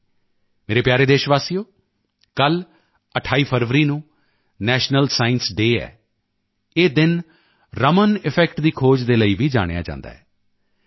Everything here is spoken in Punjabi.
ਮੇਰੇ ਪਿਆਰੇ ਦੇਸ਼ਵਾਸੀਓ ਕੱਲ 28 ਫਰਵਰੀ ਨੂੰ ਨੈਸ਼ਨਲ ਸਾਇੰਸ ਡੇ ਹੈ ਇਹ ਦਿਨ ਰਮਨ ਇਫੈਕਟ ਦੀ ਖੋਜ ਦੇ ਲਈ ਵੀ ਜਾਣਿਆ ਜਾਂਦਾ ਹੈ ਮੈਂ ਸੀ